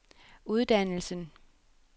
uddannelsen